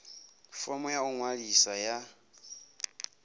fomo ya u ḓiṅwalisa ya